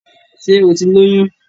Ṣé o ti lóyùn?